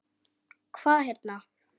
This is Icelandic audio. Hvað hérna.